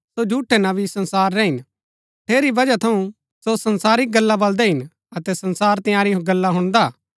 सो झूठै नबी संसारा रै हिन ठेरी बजहा थऊँ सो संसारिक गल्ला बल्‍दै हिन अतै संसार तिआंरी गल्ला हुणदा